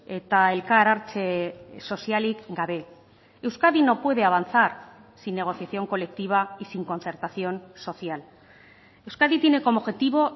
eta elkar hartze sozialik gabe euskadi no puede avanzar sin negociación colectiva y sin concertación social euskadi tiene como objetivo